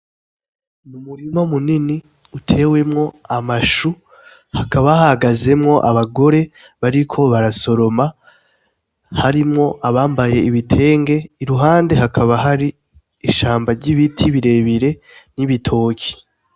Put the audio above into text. Mi umurimo munini utewemwo amashu hakaba ahagazemwo abagore bariko barasoroma harimwo abambaye ibitenge iruhande hakaba hari ishambo ry'ibiti birebire n'ibitoki.